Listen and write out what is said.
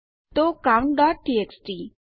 તો countટીએક્સટી